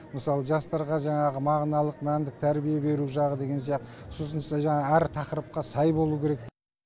мысалы жастарға жаңағы мағыналық мәндік тәрбие беру жағы деген сияқты сосын әр тақырыпқа сай болуы керек